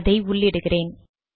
அதை உள்ளிடுகிறேன்